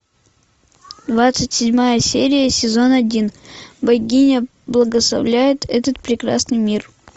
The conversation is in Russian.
двадцать седьмая серия сезон один богиня благословляет этот прекрасный мир